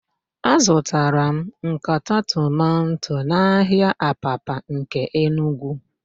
Azụtara m nkata tomanto n'ahịa Abapa nke Enugwu.